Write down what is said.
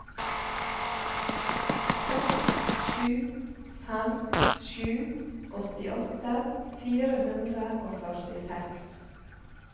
seks sju fem sju åttiåtte fire hundre og førtiseks